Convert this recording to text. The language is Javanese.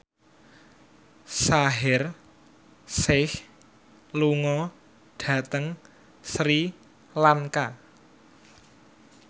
Shaheer Sheikh lunga dhateng Sri Lanka